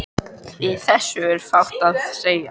Við þessu er fátt að segja.